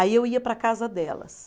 Aí eu ia para a casa delas.